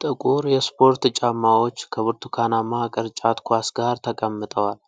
ጥቁር የስፖርት ጫማዎች ከብርቱካናማ ቅርጫት ኳስ ጋር ተቀምጠዋል።